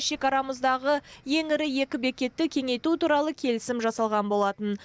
шекарамыздағы ең ірі екі бекетті кеңейту туралы келісім жасалған болатын